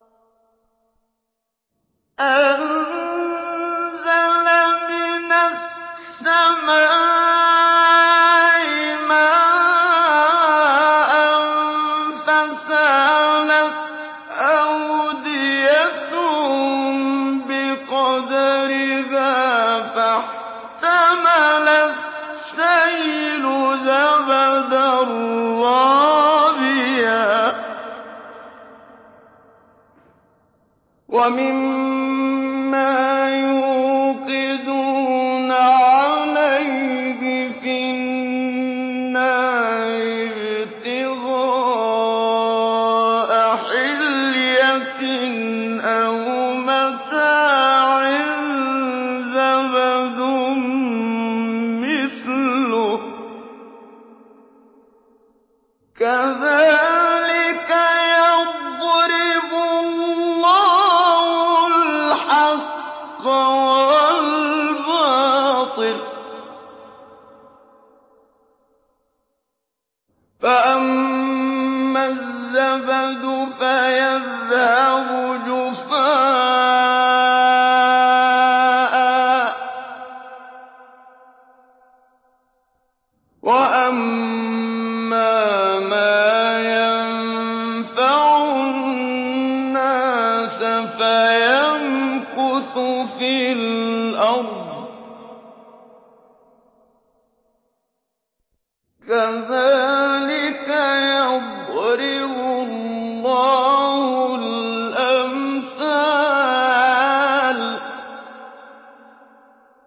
أَنزَلَ مِنَ السَّمَاءِ مَاءً فَسَالَتْ أَوْدِيَةٌ بِقَدَرِهَا فَاحْتَمَلَ السَّيْلُ زَبَدًا رَّابِيًا ۚ وَمِمَّا يُوقِدُونَ عَلَيْهِ فِي النَّارِ ابْتِغَاءَ حِلْيَةٍ أَوْ مَتَاعٍ زَبَدٌ مِّثْلُهُ ۚ كَذَٰلِكَ يَضْرِبُ اللَّهُ الْحَقَّ وَالْبَاطِلَ ۚ فَأَمَّا الزَّبَدُ فَيَذْهَبُ جُفَاءً ۖ وَأَمَّا مَا يَنفَعُ النَّاسَ فَيَمْكُثُ فِي الْأَرْضِ ۚ كَذَٰلِكَ يَضْرِبُ اللَّهُ الْأَمْثَالَ